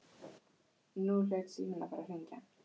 Nú hlaut síminn að fara að hringja.